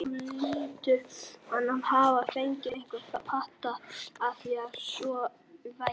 Þó hlýtur hann að hafa fengið einhvern pata af því, að svo væri.